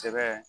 Sɛbɛ